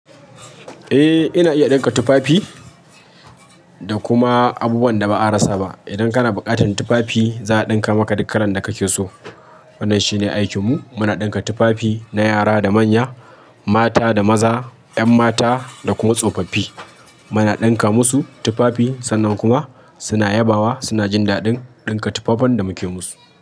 Eh ina iya ɗinka tufafi da kuma abubuwan da ba a rasa ba. Idan kana buƙatar tufafi za a ɗinka maka duk kalan da kake so. Wannan shi ne aikin mu. Muna ɗinka tufafi na yara da manya, mata da maza, 'yan mata da kuma tsofaffi. Muna ɗinka musu tufafi sannan kuma suna yabawa, suna jin daɗin ɗinka tufafin da muke musu.